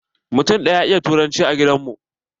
Mutum ɗaya ya iya turanci a gidan mu.